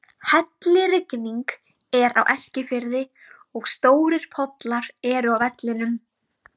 Hellirigning er á Eskifirði og stórir pollar eru á vellinum.